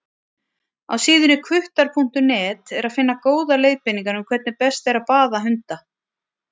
Á síðunni hvuttar.net er að finna góðar leiðbeiningar um hvernig best er að baða hunda.